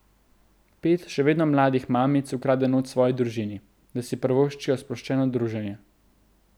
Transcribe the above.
Pet še vedno mladih mamic ukrade noč svoji družini, da si privoščijo sproščeno druženje.